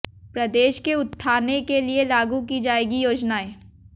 प्रदेश के उत्थाने के लिए लागू की जाएंगी योजनाएं